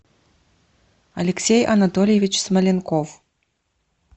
алексей анатольевич смоленков